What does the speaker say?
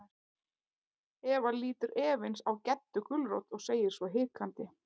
Eva lítur efins á Geddu gulrót og segir svo hikandi.